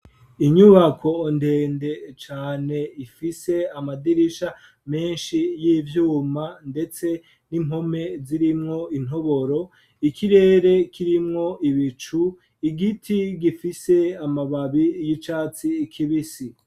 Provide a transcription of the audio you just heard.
Inyubako ndende cane ifise amadirisha menshi ,y'ivyuma ndetse n'impome zirimwo intoboro ikirere kirimwo ibicu, igiti gifise amababi y'icatsi kibisi.